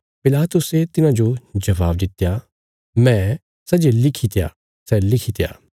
पिलातुसे तिन्हांजो जबाब दित्या मैं सै जे लिखित्या सै लिखित्या